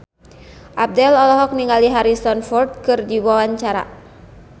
Abdel olohok ningali Harrison Ford keur diwawancara